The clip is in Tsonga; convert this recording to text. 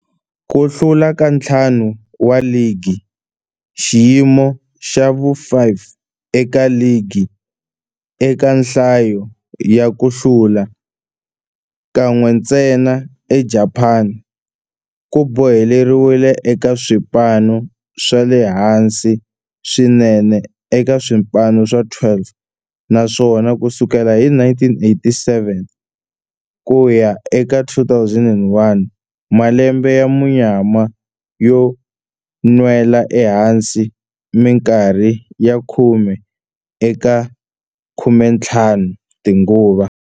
Ku hlula ka ntlhanu wa ligi, xiyimo xa vu-5 eka ligi eka nhlayo ya ku hlula, kan'we ntsena eJapani, ku boheleriwile eka swipano swa le hansi swinene eka swipano swa 12, naswona ku sukela hi 1987 ku ya eka 2001, malembe ya munyama yo nwela ehansi minkarhi ya khume eka 15 tinguva.